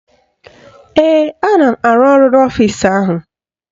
Ee, ana m arụ ọrụ n'ọfisi ahụ